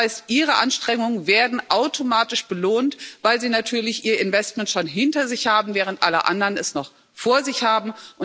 Das heißt, ihre Anstrengungen werden automatisch belohnt, weil sie natürlich ihr Investment schon hinter sich haben, während alle anderen es noch vor sich haben.